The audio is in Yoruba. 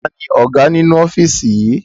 Taàní Ọ̀gá nínú ofiisi yí?